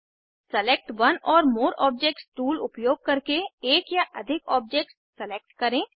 select one or more objects tool उपयोग करके एक या अधिक ऑब्जेक्ट्स सेलेक्ट करें